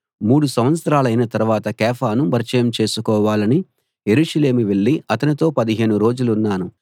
మూడు సంవత్సరాలైన తరవాత కేఫాను పరిచయం చేసుకోవాలని యెరూషలేము వెళ్లి అతనితో పదిహేను రోజులున్నాను